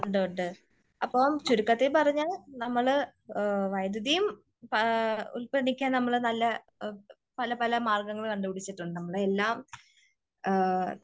ഉണ്ട് ഉണ്ട് അപ്പോ ചുരുക്കത്തിൽ പറഞ്ഞാൽ നമ്മള് വൈദ്യുതിയും ഉല്പാദിപ്പിക്കാന് നമ്മള് പല പല മാർഗങ്ങൾ കണ്ടുപിടിച്ചിട്ടുണ്ട്. നമ്മളെ എല്ലാം